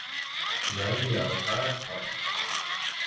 Veðjar á Dag Kára